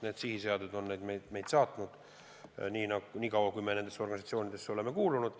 Need sihiseaded on meid saatnud nii kaua, kui me oleme nendesse organisatsioonidesse kuulunud.